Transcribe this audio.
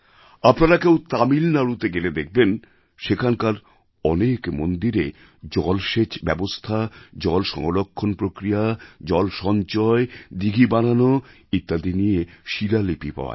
আপনারা কেউ তামিলনাড়ুতে গেলে দেখবেন সেখানকার অনেক মন্দিরে জলসেচ ব্যবস্থা জলসংরক্ষণ প্রক্রিয়া জল সঞ্চয় দিঘি বানানো ইত্যাদি নিয়ে শিলালিপি পাওয়া যায়